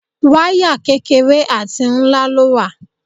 Wáyà kékeré àti ńlá ló wà.